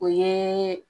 O ye